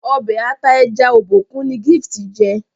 Ọbẹ̀ ata ẹja Obokun ni Gift jé